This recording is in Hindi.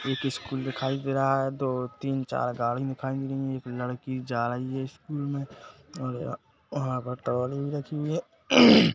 एक स्कूल दिखाई दे रहा है दो तीन चार गाड़ी दिखाई दे रही है एक लड़की जा रही स्कूल मे और वहाँ पर राखी हुई है। ]